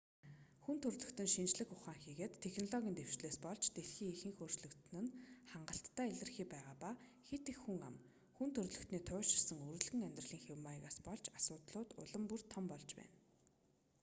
хүн төрөлхтөний шинжлэх ухаан хийгээд технологийн дэвшлээс болж дэлхий ихээхэн өөрчлөгдсөн нь хангалттай илэрхий байгаа ба хэт их хүн ам хүн төрөлхтөний туйлширсан үрэлгэн амьдралын хэв маягаас болж асуудлууд улам бүр том болж байна